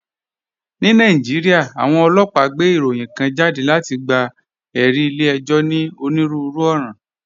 Ní Nàìjíríà, àwọn ọlọ́pàá gbé ìròyìn kan jáde láti gba ẹ̀rí ilé ẹjọ́ ní onírúurú ọ̀ràn.